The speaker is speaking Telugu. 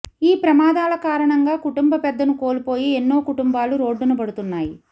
ఈ ప్రమాదాల కారణంగా కుటుంబ పెద్దను కోల్పోయి ఎన్నో కుటుంబాలు రోడ్డున పడుతున్నాయి